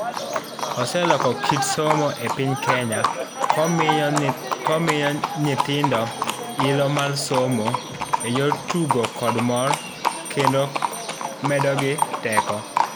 Oseloko kit somo epiny Kenya komiyo nyithindo ilo mar somo eyor tugo kod mor kendo medogi teko.